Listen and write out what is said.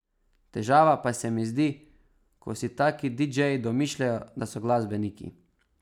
Težava pa se mi zdi, ko si taki didžeji domišljajo, da so glasbeniki.